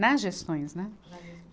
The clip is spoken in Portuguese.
Nas gestões, né?